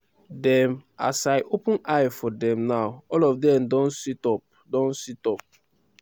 dem as i open eye for dem now all of dem don sit-up don sit-up